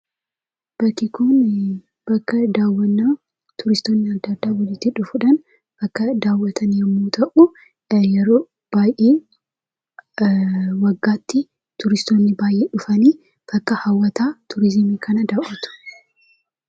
Bakki kun bakka daawwannaa turistoonni adda addaa walitti dhufuudhaan kan daawwatan yommuu ta'u, kan yeroo baay'ee waggaatti turistoonni baay'een dhufanii bakka hawwata turizimii kana daawwatu.